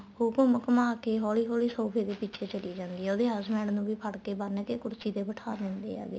ਉਹ ਫ਼ੇਰ ਘੁੰਮ ਘੁੰਮਾਹ ਕੇ ਹੋਲੀ ਹੋਲੀ ਸੋਫ਼ੇ ਦੇ ਪਿੱਛੇ ਚੱਲੀ ਜਾਂਦੀ ਆ ਉਹਦੇ husband ਨੂੰ ਵੀ ਫੜ ਕੇ ਬੰਨ ਕੇ ਕੁਰਸੀ ਤੇ ਬਿਠਾ ਦਿੰਦੇ ਹੈਗੇ